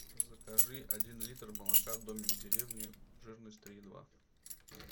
закажи один литр молока домик в деревне жирность три и два